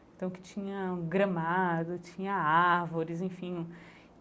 Então, que tinha gramado, tinha árvores, enfim.